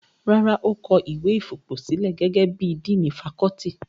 Rárá, ó kọ ìwé fipòsílẹ̀ gẹ́gẹ́ bí i díìnì fakọ́ọ́tì.